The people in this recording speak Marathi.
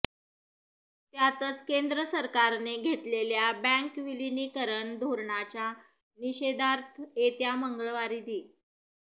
त्यातच केंद्र सरकारने घेतलेल्या बँक विलीनीकरण धोरणाच्या निषेधार्थ येत्या मंगळवारी दि